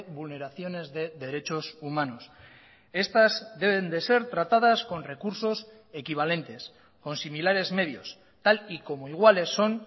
vulneraciones de derechos humanos estas deben de ser tratadas con recursos equivalentes con similares medios tal y como iguales son